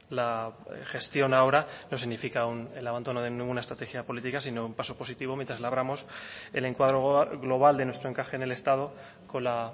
la gestión ahora no significa el abandono de ninguna estrategia política sino un paso positivo mientras labramos el encuadro global de nuestro encaje en el estado con la